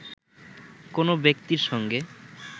কোনো ব্যক্তির সঙ্গে